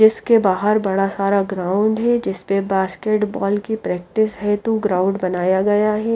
इसके बाहर बड़ा सारा ग्राउंड है जिसपे बास्केट बॉल की प्रैक्टिस हेतु ग्राउंड बनाया गया है।